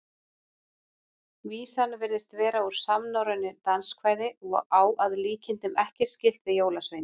Vísan virðist vera úr samnorrænu danskvæði og á að líkindum ekkert skylt við jólasveina.